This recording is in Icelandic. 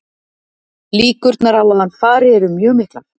Líkurnar á að hann fari eru mjög miklar.